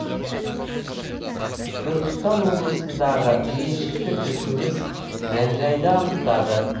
түркістан облысындағы меншікті тілшіміз мән жайды анықтады